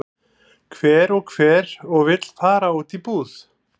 Hver og hver og vill fara út í búð?